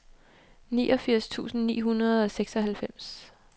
niogfirs tusind ni hundrede og seksoghalvfems